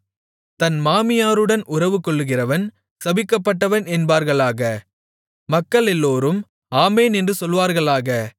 தன் மாமியாருடன் உறவுகொள்கிறவன் சபிக்கப்பட்டவன் என்பார்களாக மக்களெல்லோரும் ஆமென் என்று சொல்வார்களாக